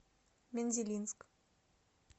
мензелинск